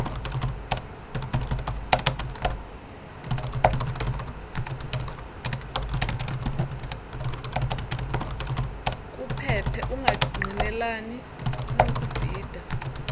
kuphephe ungangqinelani nokubhida